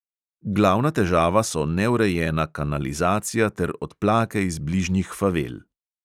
Glavna težava so neurejena kanalizacija ter odplake iz bližnjih favel.